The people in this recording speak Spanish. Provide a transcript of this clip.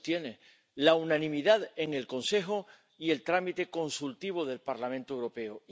También los tiene la unanimidad en el Consejo y el trámite consultivo del Parlamento Europeo.